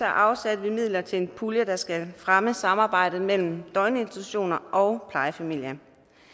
afsatte vi midler til en pulje der skal fremme samarbejdet mellem døgninstitutioner og plejefamilier